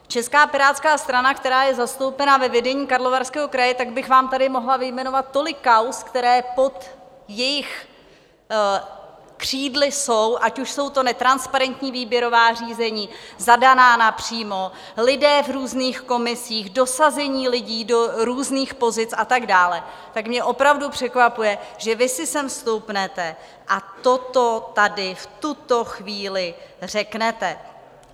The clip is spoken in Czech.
Česká pirátská strana, která je zastoupena ve vedení Karlovarského kraje, tak bych vám tady mohla vyjmenovat tolik kauz, které pod jejich křídly jsou, ať už jsou to netransparentní výběrová řízení zadaná napřímo, lidé v různých komisích, dosazení lidí do různých pozic a tak dále, tak mě opravdu překvapuje, že vy si sem stoupnete a toto tady v tuto chvíli řeknete.